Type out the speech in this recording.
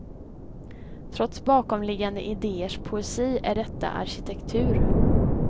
Trots bakomliggande idéers poesi är detta arkitektur.